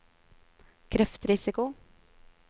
kreftrisiko